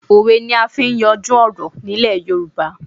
Òwe ni à n fi n yanjú ọ̀rọ̀ní Ilẹ̀ Yorùbá